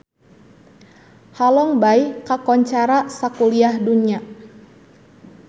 Halong Bay kakoncara sakuliah dunya